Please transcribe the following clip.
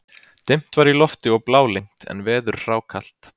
Dimt var í lofti og blálygnt en veður hrákalt.